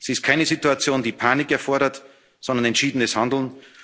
Verantwortung. Sie ist keine Situation, die Panik erfordert, sondern entschiedenes